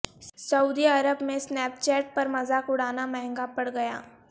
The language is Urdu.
سعودی عرب میں سنیپ چیٹ پر مذاق اڑانا مہنگا پڑ گیا